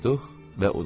Qoyduq və uduzduq.